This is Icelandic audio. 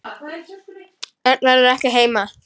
Örn verður ekki heima.